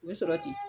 U bɛ sɔrɔ ten